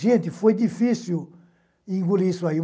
Gente, foi difícil engolir isso aí.